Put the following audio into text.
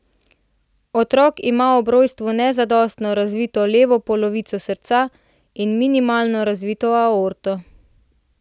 Otrok ima ob rojstvu nezadostno razvito levo polovico srca in minimalno razvito aorto.